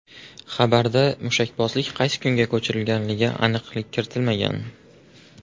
Xabarda mushakbozlik qaysi kunga ko‘chigilganiga aniqlik kiritilmagan.